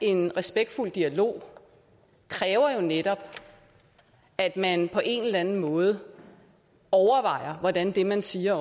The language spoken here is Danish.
en respektfuld dialog kræver jo netop at man på en eller anden måde overvejer hvordan det man siger